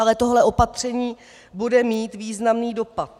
Ale tohle opatření bude mít významný dopad.